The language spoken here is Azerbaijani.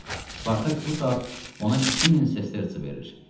Spartak bu saat ona 2000 sestertsi verir.